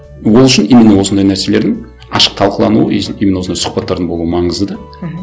ол үшін именно осындай нәрселердің ашық талқылануы и именно осындай сұхбаттардың болуы маңызды да мхм